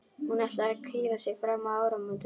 Hún ætlar að hvíla sig fram að áramótum.